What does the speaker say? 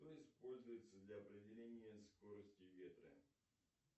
что используется для определения скорости ветра